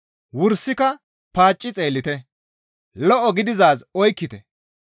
Wursika paacci xeellite; lo7o gididaaz oykkite.